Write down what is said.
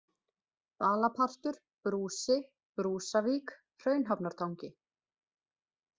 Balapartur, Brúsi, Brúsavík, Hraunhafnartangi